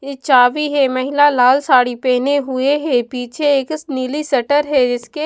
ये चाबी है महिला लाल साड़ी पहने हुए हैं पीछे एक नीली शटर है जिसके--